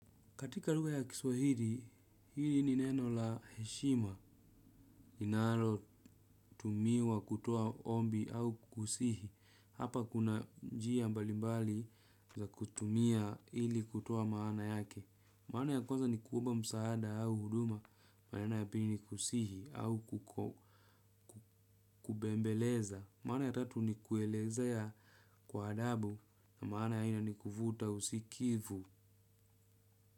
Katika lugha ya kiswahili, hili ni neno la heshima. Inalo tumiwa kutoa ombi au kukusihi. Hapa kuna njia mbalimbali za kutumia ili kutoa maana yake. Maana ya kwanza ni kuomba msaada au huduma. Maana ya pili ni kusihi au kubembeleza. Maana ya tatu ni kuelezea kwa adabu na maana ya nne ni kuvuta usikivu.